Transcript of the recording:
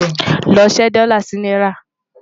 ló ṣé dòla sí náírà